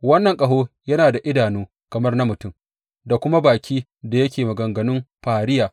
Wannan ƙaho yana da idanu kamar na mutum da kuma bakin da yake maganganun fariya.